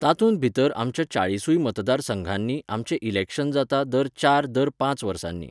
तातूंत भितर आमच्या चाळीसूय मतदार संघांनी आमचें इलेक्शन जाता दर चार दर पांच वर्सांनी